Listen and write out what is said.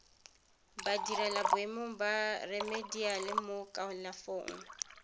badirelaboemong ba remediale mo kalafong